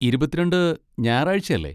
ഇരുപത്തി രണ്ട് ഞായറാഴ്ച്ച അല്ലേ?